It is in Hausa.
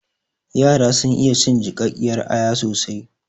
Yara sun iya cin jiƙaƙƙiyar aya soasi